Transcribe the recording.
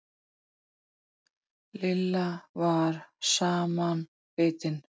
Lilla var samanbitin.